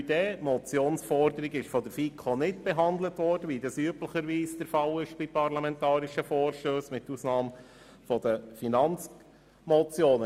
Die Motionsforderung wurde von der FiKo nicht behandelt, wie das üblicherweise bei parlamentarischen Vorstössen der Fall ist, mit Ausnahme von Finanzmotionen.